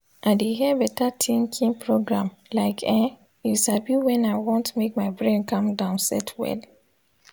i de hear beta tinkin program like ern u sabi wen i want make my brain calm down set well